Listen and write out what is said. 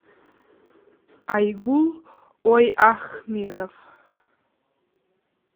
айгул ойахмедов